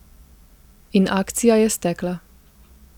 In akcija je stekla.